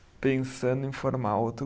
Pensando em formar outro